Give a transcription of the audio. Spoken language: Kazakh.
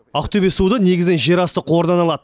ақтөбе суды негізінен жерасты қорынан алады